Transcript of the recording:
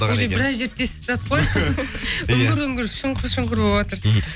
уже біраз жерді тесіп тастадық қой үңір үңір шұңқыр шұңқыр болыватыр мхм